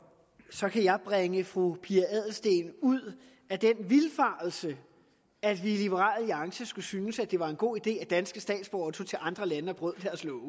så kan jeg bringe fru pia adelsteen ud af den vildfarelse at vi i liberal alliance skulle synes at det var en god idé at danske statsborgere tog til andre lande og brød